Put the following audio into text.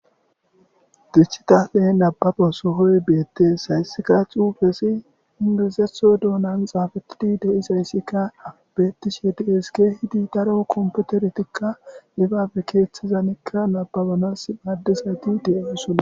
dichitape nababa sohoy beettees hayssikka cuufesi indizetho doonan xaafatidi de7i sayssikka abettishe dees ke hidi daro komputertikka dibaabe keeththizanikka nababonas maddizati deeusona